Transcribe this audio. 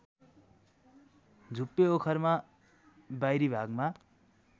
झुप्पे ओखरमा बाहिरिभागमा